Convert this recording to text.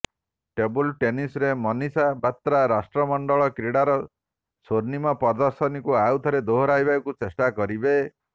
table ଟେନିସରେ ମନିସା ବାତ୍ରା ରାଷ୍ଟ୍ରମଣ୍ଡଳ କ୍ରିଡାର ଶ୍ୱର୍ଣ୍ଣିମ ପ୍ରଦର୍ଶନକୁ ଆଉଥରେ ଦୋହରାଇବାକୁ ଚେଷ୍ଟା କରିବେ